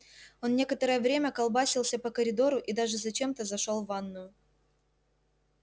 он некоторое время колбасился по коридору и даже зачем-то зашёл в ванную